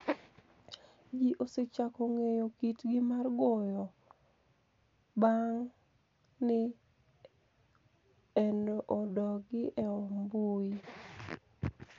Ji osechako nig'eyo kitgi mar goro banig ' ni enogi e mbui.